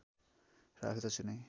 राख्दछु नै